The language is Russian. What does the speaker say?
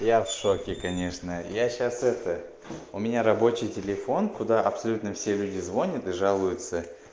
я в шоке конечно я сейчас это у меня рабочий телефон куда абсолютно все люди звонят и жалуются